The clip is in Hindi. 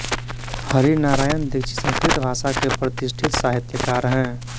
हरिनारायण दीक्षित संस्कृत भाषा के प्रतिष्ठित साहित्यकार हैं